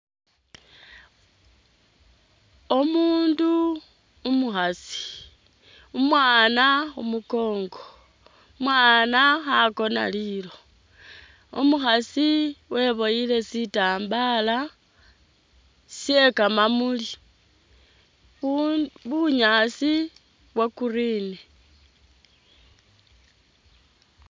Omundu umukhasi umwana khumunkongo umwana khakona Lilo umukhasi weboyile sitambala she kamamuli bu bunyaasi bwa'green